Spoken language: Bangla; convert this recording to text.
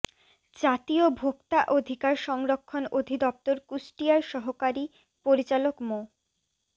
জাতীয় ভোক্তা অধিকার সংরক্ষণ অধিদফতর কুষ্টিয়ার সহকারী পরিচালক মো